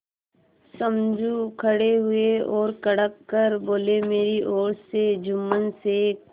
समझू खड़े हुए और कड़क कर बोलेमेरी ओर से जुम्मन शेख